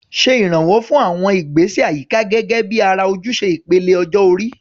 Ṣe ìrànwọ́ fún àwọn ìgbésẹ̀ àyíká gẹ́gẹ́ bí ara ojúṣe ìpele ọjọ́ orí.